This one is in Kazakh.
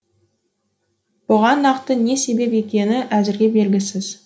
бұған нақты не себеп екені әзірге белгісіз